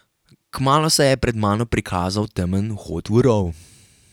Kmalu se je pred mano prikazal temen vhod v rov.